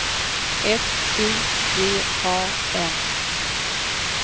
S U D A N